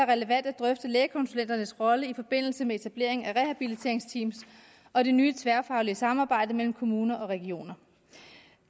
relevant at drøfte lægekonsulenternes rolle i forbindelse med etableringen af rehabiliteringsteam og det nye tværfaglige samarbejde mellem kommuner og regioner